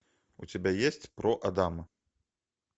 у тебя есть про адама